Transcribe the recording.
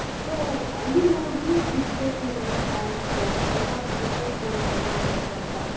so ಹಳ್ಳಿಗಳವರಿಗೂ ಸಿಗಬೇಕು ಇಲ್ಲಿ chance ಎಲ್ಲಾ different courseಗಳು ಓದಬೇಕು ಅಂತ.